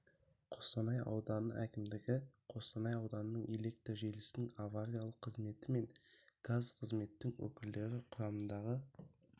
қостанай ауданы әкімдігі қостанай ауданының электр желісінің авариялық қызметі мен газ қызметтің өкілдері құрамындағы